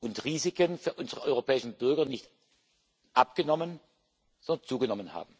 und Risiken für unsere europäischen Bürger nicht abgenommen, sondern zugenommen haben.